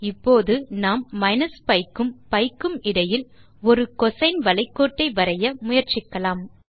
இப்போது நாம் minus pi க்கும் பி க்கும் இடையில் ஒரு கோசின் வளை கோட்டை வரைய முயற்சிக்கலாம்